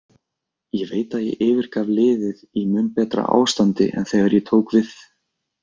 Ég veit að ég yfirgaf liðið í mun betra ástandi en þegar ég tók við.